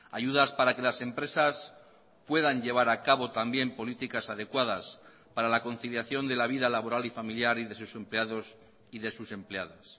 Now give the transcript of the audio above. ayudas para que las empresas puedan llevar a cabo también políticas adecuadas para la conciliación de la vida laboral y familiar y de sus empleados y de sus empleadas